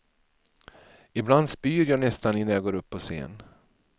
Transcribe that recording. I bland spyr jag nästan innan jag går upp på scen.